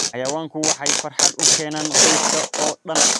Xayawaanku waxay farxad u keenaan qoyska oo dhan.